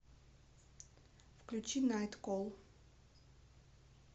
включи найткол